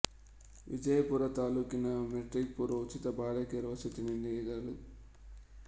ವಿಜಯಪುರ ತಾಲ್ಲೂಕಿನ ಮೆಟ್ರಿಕ್ ಪೂರ್ವ ಉಚಿತ ಬಾಲಕಿಯರ ವಸತಿ ನಿಲಯಗಳು